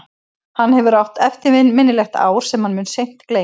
Hann hefur átt eftirminnilegt ár sem hann mun seint gleyma.